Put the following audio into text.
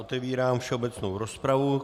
Otevírám všeobecnou rozpravu.